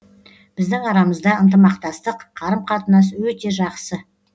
біздің арамызда ынтымақтастық қарым қатынас өте жақсы